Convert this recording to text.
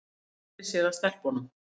Hún sneri sér að stelpunum.